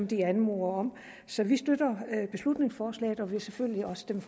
de anmoder om så vi støtter beslutningsforslaget og vil selvfølgelig også stemme